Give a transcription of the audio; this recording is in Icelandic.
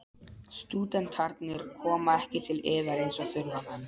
Stúdentarnir koma ekki til yðar eins og þurfamenn.